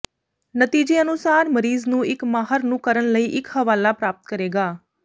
ਨਤੀਜੇ ਅਨੁਸਾਰ ਮਰੀਜ਼ ਨੂੰ ਇੱਕ ਮਾਹਰ ਨੂੰ ਕਰਨ ਲਈ ਇੱਕ ਹਵਾਲਾ ਪ੍ਰਾਪਤ ਕਰੇਗਾ